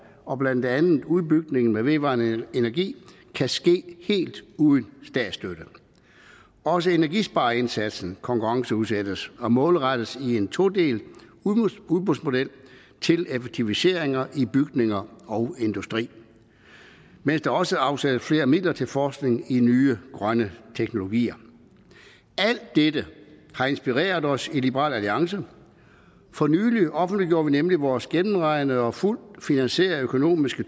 og blandt andet udbygningen af vedvarende energi kan ske helt uden statsstøtte også energispareindsatsen konkurrenceudsættes og målrettes i en todelt udbudsmodel til effektiviseringer i bygninger og industri mens der også afsættes flere midler til forskning i nye grønne teknologier alt dette har inspireret os i liberal alliance for nylig offentliggjorde vi nemlig vores gennemregnede og fuldt finansierede økonomiske